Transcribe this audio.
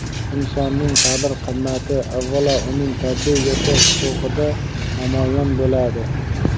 insonning qadr-qimmati avvalo uning tabiiy yashash huquqida namoyon bo‘ladi.